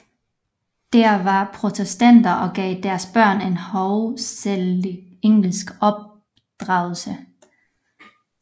De var protestanter og gav deres børn en hovedsagelig engelsk opdragelse